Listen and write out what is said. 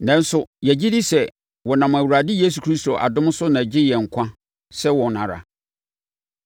Nanso, yɛgye di sɛ wɔnam Awurade Yesu Kristo adom so na agye yɛn nkwa sɛ wɔn ara.”